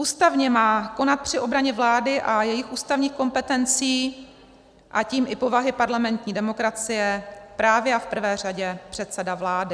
Ústavně má konat při obraně vlády a jejích ústavních kompetencí, a tím i povahy parlamentní demokracie, právě a v prvé řadě předseda vlády.